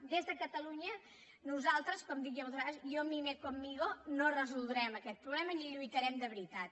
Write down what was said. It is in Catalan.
des de catalunya nosaltres com dic jo moltes vegades yo mí me conmigo no resoldrem aquest problema ni hi lluitarem de veritat